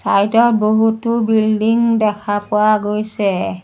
Side ত বহুতো building দেখা পোৱা গৈছে।